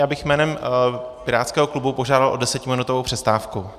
Já bych jménem pirátského klubu požádal o desetiminutovou přestávku.